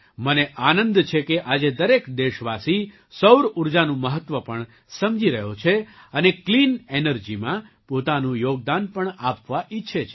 મને આનંદ છે કે આજે દરેક દેશવાસી સૌર ઊર્જાનું મહત્ત્વ પણ સમજી રહ્યો છે અને ક્લીન એનર્જીમાં પોતાનું યોગદાન પણ આપવા ઈચ્છે છે